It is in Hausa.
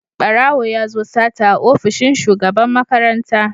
Barawo ya zo yin sata a ofishin Shugaban makaranta.